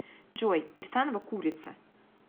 джой кирсанова курица